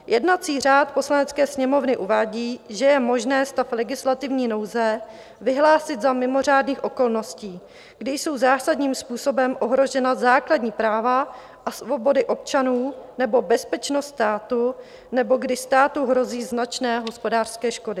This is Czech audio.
Jednací řád Poslanecké sněmovny uvádí, že je možné stav legislativní nouze vyhlásit za mimořádných okolností, kdy jsou zásadním způsobem ohrožena základní práva a svobody občanů nebo bezpečnost státu nebo když státu hrozí značné hospodářské škody.